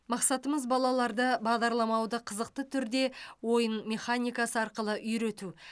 мақсатымыз балаларды бағдарламауды қызықты түрде ойын механикасы арқылы үйрету